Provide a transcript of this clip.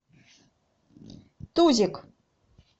тузик